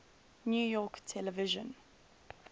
new york television